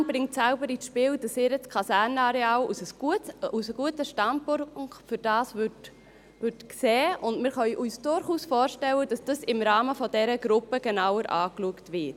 Die Stadt Bern bringt selber ins Spiel, dass sie ihr Kasernenareal als guten Standort dafür sieht, und wir können uns durchaus vorstellen, dass das im Rahmen dieser Gruppe genauer angeschaut wird.